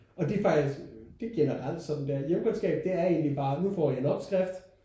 Og det er faktisk det er generelt sådan det er i hjemkundskab det er egentlig bare nu får I en opskrift